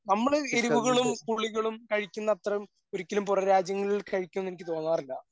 നമ്മള് എരിവുകളും പുളികളും കഴിക്കുന്ന അത്രയും ഒരിക്കലും പുറംരാജ്യങ്ങളിൽ കഴിക്കൂന്ന് എനിക്ക് തോന്നാറില്ല.